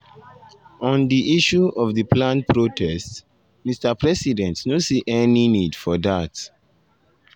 “on di issue of di planned protest mr president no see any any need for dat.